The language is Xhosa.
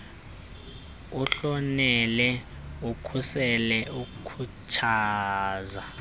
uhlonele ukhusele ukhuthaze